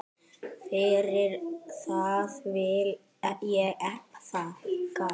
Fyrir það vil ég þakka.